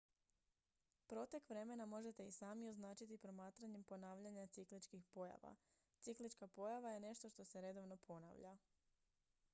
protek vremena možete i sami označiti promatranjem ponavljanja cikličkih pojava ciklička pojava je nešto što se redovno ponavlja